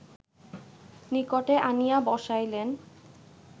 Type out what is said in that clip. নিকটে আনিয়া বসাইলেন